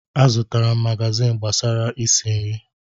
Azụtara m magazin gbasara isi nri.